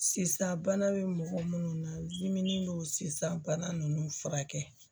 Sisan bana bɛ mɔgɔ minnu na dimi n'o sisan bana ninnu furakɛ